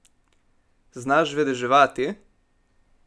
Znaš vedeževati?